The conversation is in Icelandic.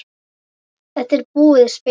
Þetta var búið spil.